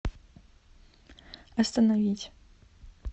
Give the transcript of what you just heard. остановить